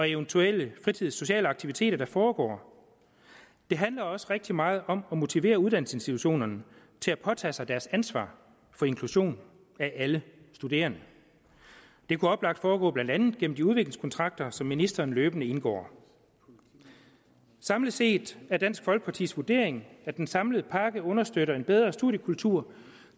eventuelle fritids og sociale aktiviteter der foregår det handler også rigtig meget om at motivere uddannelsesinstitutionerne til at påtage sig deres ansvar for inklusion af alle studerende det kunne oplagt foregå blandt andet gennem de udviklingskontrakter som ministeren løbende indgår samlet set er dansk folkepartis vurdering at den samlede pakke understøtter en bedre studiekultur